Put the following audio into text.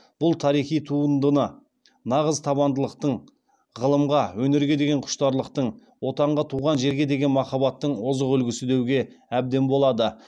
бұл тарихи туындыны нағыз табандылықтың ғылымға өнерге деген құштарлықтың отанға туған жерге деген махаббаттың озық үлгісі деуге әбден болады